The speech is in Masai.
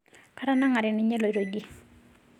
Katanangare ninye eloito idie